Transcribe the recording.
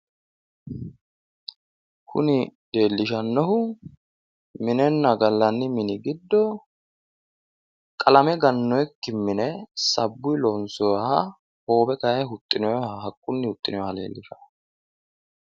Kuni leellishannohu minenna gallanni mini giddo qalame gannoyikki mine sabbuyi lonsoyiha hoowe kayinni huxxinoyha haqqunni huxxinoyha leellishanno.